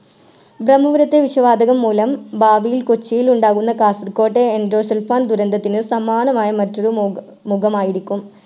ബ്രമ്മപുരത്തെ വിഷവാതകം മൂലം ഭാവിയിൽ കൊച്ചിയിലുണ്ടാവുന്ന കാസർഗോട്ടെ എൻഡോസൾഫാൻ ദുരന്തത്തിന് സമാനമായ മറ്റൊരു മുക മുഖമായിരിക്കും